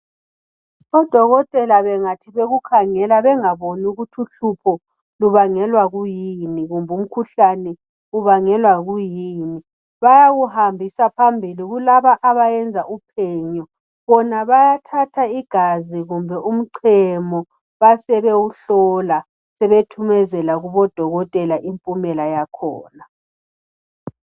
Odokotela bengathi bekukhangela bengaboni ukuthi uhlupho lubangelwa kuyini kumbe umkhuhlane ubangelwa kuyini bayawuhambisa phambili kulabo abayenza upenyo bona bayathatha igazi kumbe umchemo basebewuhlola sebethuzmezela kubodokotela impumela yakhona